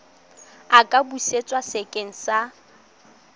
a ka busetswa sekeng sa